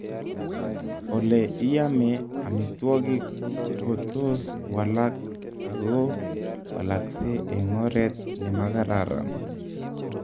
Ole iame amitwokik ko tos walak ako walakse eng oret nemagararan